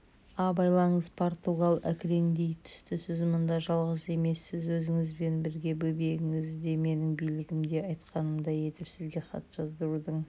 абайлаңыз португал әкіреңдей түстісіз мұнда жалғыз емессіз өзіңізбен бірге бөбегіңіз де менің билігімде айтқанымдай етіп сізге хат жаздырудың